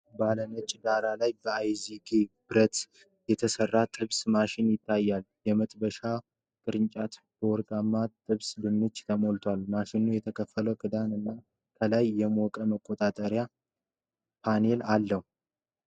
ባለ ነጭ ዳራ ላይ ከአይዝጌ ብረት (stainless steel) የተሰራ ጥብስ ማሽን ይታያል፤ የመጥበሻ ቅርጫቱ በወርቃማ ጥብስ ድንች ተሞልቷል። ማሽኑ የተከፈተ ክዳን እና ከላይ የሙቀት መቆጣጠሪያ ፓኔል አለው።